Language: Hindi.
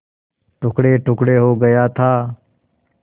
टुकड़ेटुकड़े हो गया था